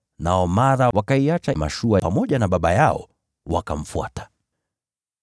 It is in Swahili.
Nao mara wakaiacha mashua yao, pamoja na baba yao, wakamfuata.